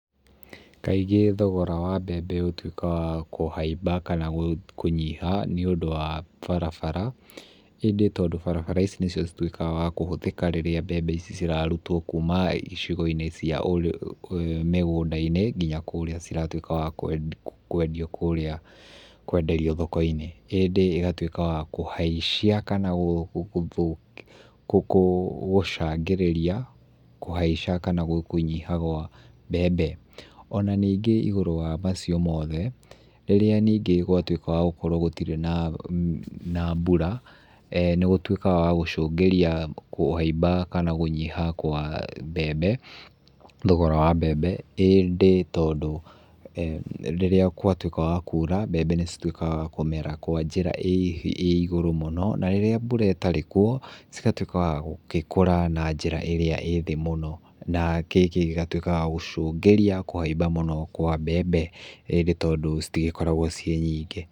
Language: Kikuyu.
Kaingĩ thogoro wa mbembe ũtuĩke wa kũhaimba kana kũnyitha nĩũndũ wa barabara, ĩngĩ barabara ici nĩcio cituĩkaga cia kũhuthĩka rĩrĩa mbembe ici ciraruta kuuma icigoinĩ cia mĩgũndainĩ nginya kũrĩa ciratuĩka gwa kwendio kũrĩa kwenderio thokoinĩ, hĩndĩ ĩgatuĩka ya kũhaicia kanagũcangĩrĩria kũhaica kana gũnyiha gwa mbembe. Ona ningĩ igũrũ wa macio mothe rĩrĩa ningĩ na mbura,[eh] nĩgũtuĩka wa gũcungĩrĩa kũhaimba kama kũnyiha kwa mbembe thogora wa mbembe indĩ tondũ rĩrĩa watuĩka wa kũra mbembe nĩcituĩkaga kũmera kwa njĩra ĩigũrũ mũno na rĩrĩa mbura ĩtarĩ kuo cigatuĩka wa gũkũra na njĩra ĩrĩa ĩthĩ mũno na gĩkĩ gĩgatuĩka ya gũcungĩria kũhaimba mũno kwa mbembe hĩndĩ tondũ citikoragwa ciĩ nyingĩ.